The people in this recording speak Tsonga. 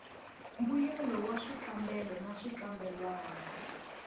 mbuyelo wa swikambelo na swikambelwana